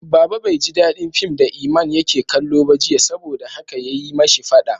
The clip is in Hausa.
Baba bai ji dadin fim da Iman yake kallo ba jiya, saboda haka ya yi ma shi fada.